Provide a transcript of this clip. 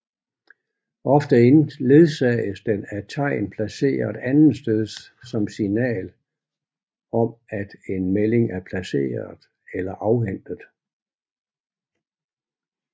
Ofte ledsages den af tegn placeret andetsteds som signal om at en melding er placeret eller afhentet